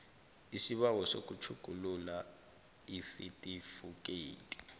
isibawo sokutjhugulula isitifikhethi